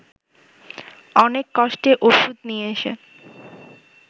অনেক কষ্টে ওষুধ নিয়ে এসে